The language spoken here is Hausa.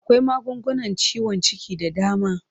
Akwai magungunan ciwon ciki da dama.